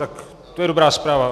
Tak to je dobrá zpráva.